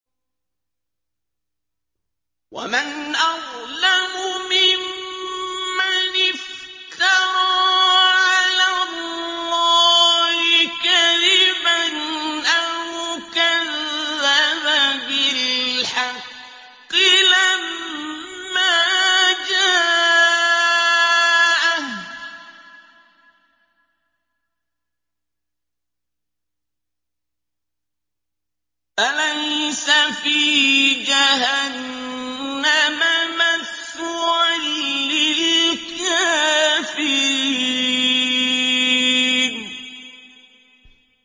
وَمَنْ أَظْلَمُ مِمَّنِ افْتَرَىٰ عَلَى اللَّهِ كَذِبًا أَوْ كَذَّبَ بِالْحَقِّ لَمَّا جَاءَهُ ۚ أَلَيْسَ فِي جَهَنَّمَ مَثْوًى لِّلْكَافِرِينَ